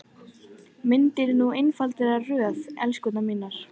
Myndið nú einfalda röð, elskurnar mínar.